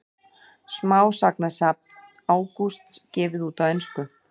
Smásagnasafn Ágústs gefið út á ensku